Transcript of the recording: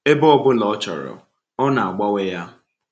Ebe ọ bụla ọ chọrọ, ọ na-agbanwe ya.